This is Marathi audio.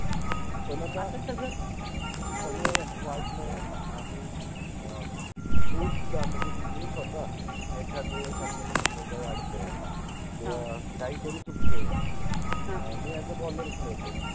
पण आता, आता सगळ available आह्रे, अ खुपदा मनजे मि स्वता एखादवेळेस समजा आपल अडतय, काहितरि चुकतय, ह, मि अ‍ॅज अ बॉलर {boller} खेळतो